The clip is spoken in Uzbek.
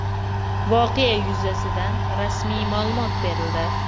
Voqea yuzasidan rasmiy ma’lumot berildi.